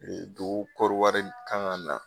Dugukɔri wari kan ka na